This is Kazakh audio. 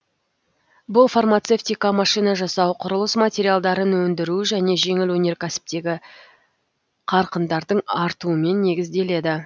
бұл фармацевтика машина жасау құрылыс материалдарын өндіру және жеңіл өнеркәсіптегі қарқындардың артуымен негізделеді